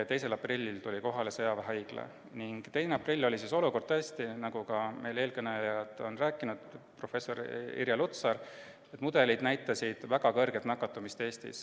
2. aprillil tuli kohale sõjaväehaigla ning siis oli olukord tõesti selline, nagu ka eelkõneleja, professor Irja Lutsar rääkis, et mudelid näitasid Eestis väga suurt nakatumist.